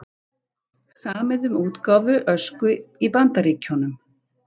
Samið um útgáfu Ösku í Bandaríkjunum